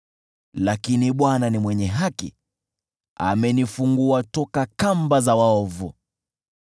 Lakini Bwana ni mwenye haki; amenifungua toka kamba za waovu.